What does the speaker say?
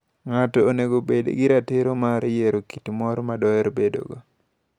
Ng'ato onego obed gi ratiro mar yiero kit mor ma doher bedogo.